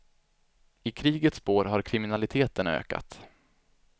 I krigets spår har kriminaliteten ökat.